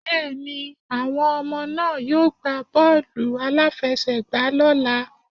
Bẹ́ẹ̀ni, àwọn ọmọ náà yóò gbá bọ́ọ̀lù-aláfẹ́sẹ̀gbà lọ́ la.